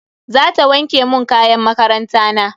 Zata wanke mun kayan makaranta na.